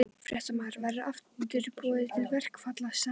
Fréttamaður: Verður aftur boðað til verkfallsaðgerða?